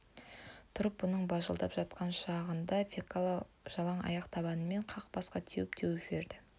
тұрып бұның бажылдап жатқан шағында фекла жалаң аяқ табанымен қақ басқа теуіп-теуіп жіберді